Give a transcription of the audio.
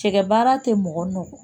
Cɛkɛ baara tɛ mɔgɔ nɔ